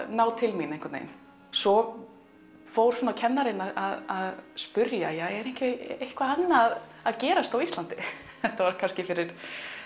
ná til mín einhvern veginn svo fór kennarann að spyrja er ekki eitthvað annað að gerast á Íslandi þetta var kannski fyrir